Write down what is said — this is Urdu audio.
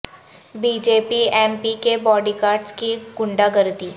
بی جے پی ایم پی کے باڈی گارڈز کی غنڈہ گردی